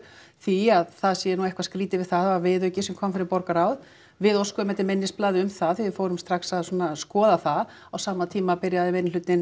því að það sé nú eitthvað skrítið við það það var viðauki sem kom fyrir borgarráð við óskuðum eftir minnisblaði um það því við fórum strax að skoða það á sama tíma byrjaði